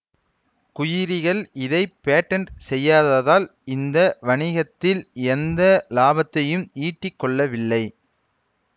குயுரிகள் இதை பேடேன்ட் செய்யாததால் இந்த வணிகத்தில் எந்த லாபத்தையும் ஈட்டிக்கொள்ளவில்லை